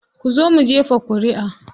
Kuzo mu jefa ƙuriʼa.